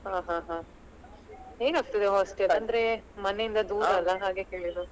ಹ ಹ ಹ ಹೇಗ್ ಆಗ್ತದೆ hostel ಅಂದ್ರೆ ಮನೆ ಇಂದ ಅಲ ಹಾಗೆ ಕೇಳಿದ್ದು.